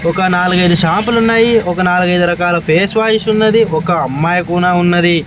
ఒక నాలుగైదు షాపు లు ఉన్నాయి ఒక నాలుగైదు రకాల ఫేష్ వాయిష్ ఉన్నది ఒక అమ్మాయి కూనా ఉన్నది.